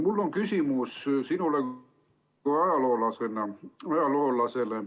Mul on küsimus sinule kui ajaloolasele.